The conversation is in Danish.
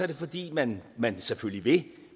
det fordi man man selvfølgelig vil